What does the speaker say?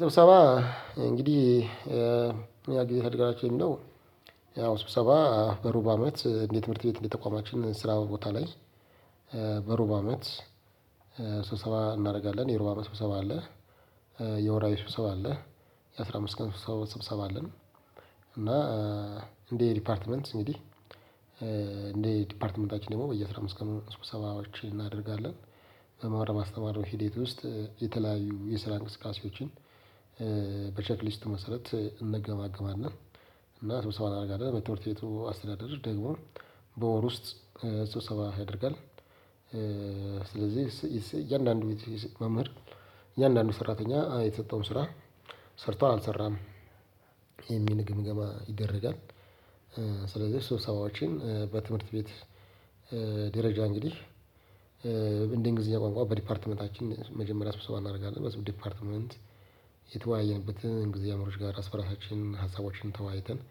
ስብሰባ እንግዲህ ያ ጊዜ ተደራጁን ነው ያው ስብሰባ በሩብ አመት እንዴት ትምህርት ቤት እንዴት ተቋማችን ስራው ቦታ ላይ- በሩብ አመት ስብሰባ እናደርጋለን። የሩብ አመት ስብሰባ አለ። የወራዊ ስብሰባ አለ። የአስራ አምስት ቀን ሰው ስብሰባ አለን እና- እንደየ ዲፓርትመንት እንደ ዲፓርትመንታችን ደግሞ በየአስራ አምስት ቀኑ ስብሰባዎችን እናደርጋለን። በመማር ማስተማር ሂደት ውስጥ የተለያዩ የስራ እንቅስቃሴዎችን- በቼክሊስት መሰረት እንገማገማለን እና ስብሰባ እናደርጋለን። በትምህርት ቤቱ አስተዳደር ደግሞ በወር ውስጥ ስብሰባ ያደርጋል። ስለዚህ እያንዳንዱ መምህር እያንዳንዱ ሰራተኛ የተሰጠውን ስራ ሰርቷል አልሰራም የሚል ግምገማ ይደረጋል። ስለዚህ ስብሰባዎችን በትምህርት ቤት ደረጃ እንግዲህ- እንደ እንግሊዘኛ ቋንቋ በዲፓርትመንታችን መጀመሪያ ስብሰባ እናደርጋለን። በዚህ ዲፓርትመንት የተወያየንበትን እንግሊዘኛ መምህሮች ጋር ራስ በራሳችን ሀሳቦችን ተወያይተን-